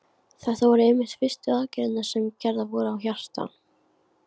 Þetta voru einmitt fyrstu aðgerðirnar sem gerðar voru á hjarta.